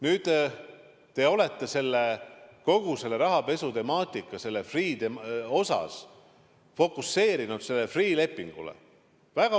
Nüüd, te olete kogu selle rahapesutemaatika väga osavalt, ma ütleks, et poliitiliselt fokuseerinud sellele Freeh' lepingule.